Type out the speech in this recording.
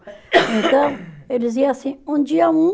Então, eles iam assim, um dia um,